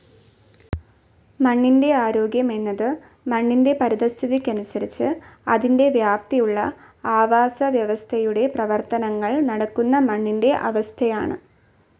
മണ്ണിന്റെ ആരോഗ്യം എന്നത് മണ്ണിന്റെ പരിതഃസ്ഥിതിക്കനുസരിച്ച് അതിന്റെ വ്യാപ്തിയുള്ള ആവാസവ്യവസ്ഥയുടെ പ്രവർത്തനങ്ങൾ നടക്കുന്ന മണ്ണിന്റെ അവസ്ഥയാണ്.